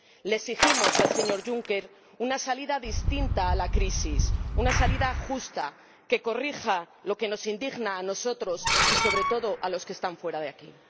Le exigimos al señor Juncker una salida distinta a la crisis, una salida justa que corrija lo que nos indigna a nosotros y, sobre todo, a los que están fuera de aquí.